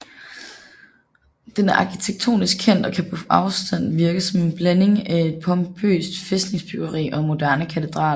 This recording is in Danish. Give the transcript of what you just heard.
Den er arkitektonisk kendt og kan på afstand virke som en blanding af et pompøst fæstningsbyggeri og en moderne katedral